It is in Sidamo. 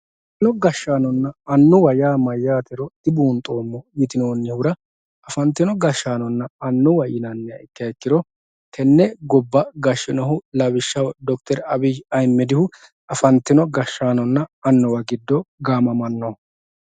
afantino gashshaanonna annuwate yaa mayyaatero dibuunxoommo yitinoonnihura afantino gashshaanonna annuwa yinanniha ikkiha ikkiro tenne gobba gashshinohu lawishshaho d/rabiyyi ahiimmedihu afantino gashshaanonna annuwa giddo gaamamannoho.